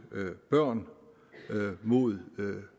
børn mod